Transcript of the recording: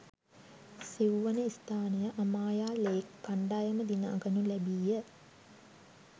සිව්වන ස්ථානය අමායා ලේක් කණ්ඩායම දිනා ගනු ලැබීය.